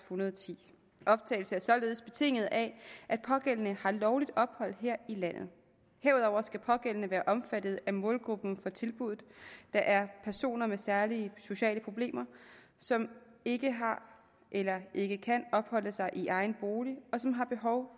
hundrede og ti optagelse er således betinget af at pågældende har lovligt ophold her i landet herudover skal pågældende være omfattet af målgruppen for tilbuddet der er personer med særlige sociale problemer som ikke har eller ikke kan opholde sig i egen bolig og som har behov